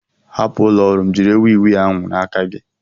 Hapụ ụlọ ọrụ m jiri wii wii ahụ n'aka gị!